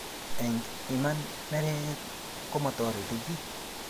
eng Iman neregek komatoreti kiiy